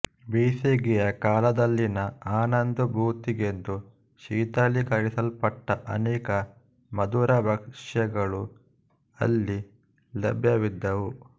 ಬೇಸಿಗೆಯ ಕಾಲದಲ್ಲಿನ ಆನಂದಾನುಭೂತಿಗೆಂದು ಶೀತಲೀಕರಿಸಲ್ಪಟ್ಟ ಅನೇಕ ಮಧುರಭಕ್ಷ್ಯಗಳು ಅಲ್ಲಿ ಲಭ್ಯವಿದ್ದವು